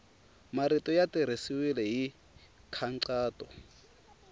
marito ya tirhisiwile hi nkhaqato